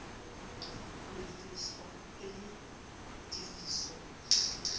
ho lefshwa e le tefiso